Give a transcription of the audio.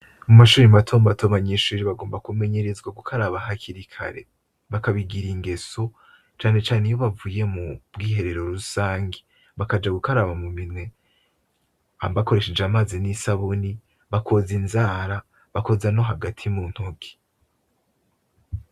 Mu mashuri matombato ,abanyeshuri bagomba kumenyerezwa gukaraba hakiri kare bakabigira ingeso cane cane iyo bavuye mu bwiherero rusangi bakaja gukaraba mu minwe .Bakoresheje amazi n'isabuni bakoza inzara bakoza no hagati mu ntogi.